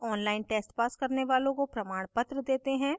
online test pass करने वालों को प्रमाणपत्र देते हैं